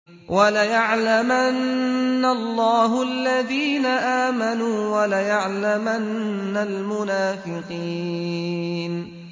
وَلَيَعْلَمَنَّ اللَّهُ الَّذِينَ آمَنُوا وَلَيَعْلَمَنَّ الْمُنَافِقِينَ